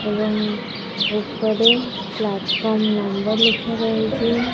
ଏବଂ ଉପରେ platform number ଲେଖା ରହିଛି ।